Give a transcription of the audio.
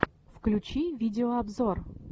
включи видеообзор